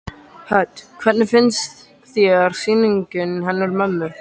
Hödd: Hvernig finnst þér sýningin hennar mömmu?